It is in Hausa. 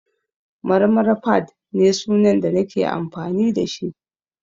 Marmara_fadd ne sunan da nake amfani da shi